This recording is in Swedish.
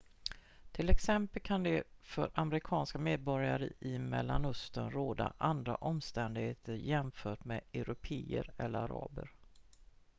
till exempel kan det för amerikanska medborgare i mellanöstern råda andra omständigheter jämfört med européer eller araber